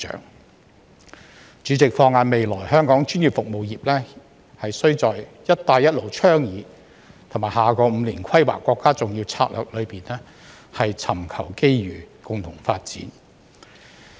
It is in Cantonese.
代理主席，放眼未來，香港專業服務業須在"一帶一路"倡議和下個5年規劃國家重要策略中尋求機遇，共同發展。